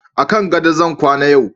a kan gado zan kwana yau